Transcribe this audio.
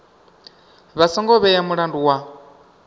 vha songo vhea mulandu wa